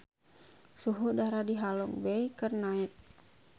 Suhu udara di Halong Bay keur naek